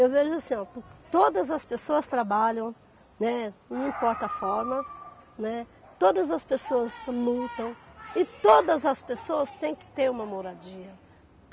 Eu vejo assim, ó, todas as pessoas trabalham, né, não importa a forma, né, todas as pessoas lutam e todas as pessoas têm que ter uma moradia.